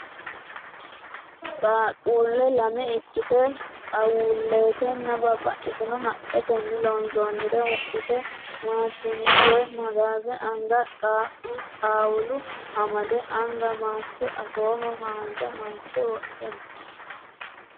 Qaaqquulle lame ikkite xaawullatenni babbaxino haqqetenni loonsoonnire wodhite maashinna woyi magaaze anga qaaqqu xaawula amade anga maaske afooho haanja maaske wodhe no.